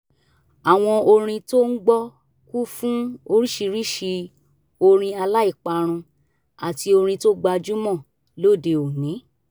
àwọn orin tó ń gbọ́ kú fún oríṣiríṣi orin aláìparun àti orin tó gbajúmọ̀ lóde òní